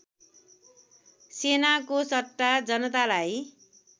सेनाको सट्टा जनतालाई